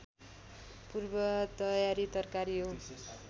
पूर्व तयारी तरकारी हो